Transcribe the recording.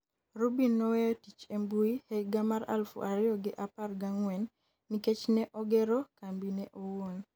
Rubin noweyo tich e mbui e higa mar aluf ariyo gi apar gang'wen nikech ne ogero kambi ne owuon